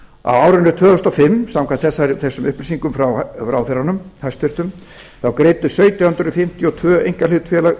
árinu tvö þúsund og fimm greiddu samkvæmt þessum upplýsingum frá ráðherranum hæstvirtur sautján hundruð fimmtíu og tvö einkahlutafélög